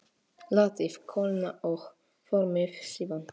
Látið kólna og formið síðan.